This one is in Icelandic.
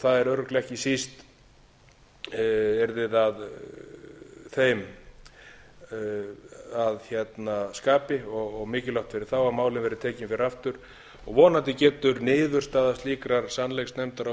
það er örugglega ekki síst yrði það þeim að skapi og mikilvægt fyrir þá að málið verði tekið fyrir aftur vonandi getur niðurstaða slíkrar sannleiksnefndar á